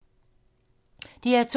DR2